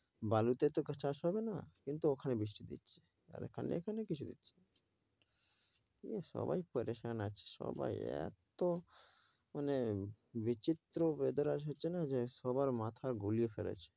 বালুতে তো আর চাষ হবে না কিন্তু ওখানে বৃষ্টি দিচ্ছে আর এখানে কিছু দিচ্ছে না। সাবাই পেরেশান আছে সবাই এত মানে বিচিত্র weather হচ্ছে না যে সবার মাথা ঘুরিয়ে ফেলেছে।